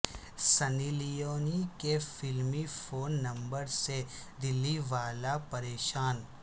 سنی Leone کے فلمی phone number سے دلی والا پریشان